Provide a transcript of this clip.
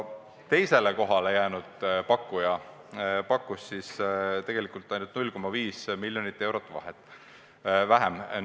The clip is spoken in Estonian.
Teisele kohale jäänud pakkuja pakkus ainult 0,5 miljonit eurot vähem.